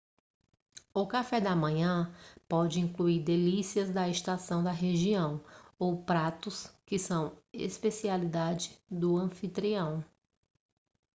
o café da manhã pode incluir delícias da estação da região ou pratos que são especialidade do anfitrião